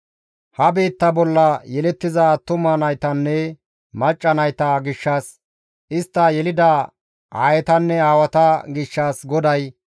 Ha biitta bolla yelettiza attuma naytanne macca nayta gishshas, istta yelida aayetanne aawata gishshas GODAY,